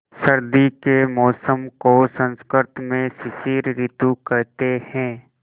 सर्दी के मौसम को संस्कृत में शिशिर ॠतु कहते हैं